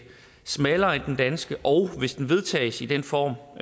smallere end den danske og hvis den vedtages i den form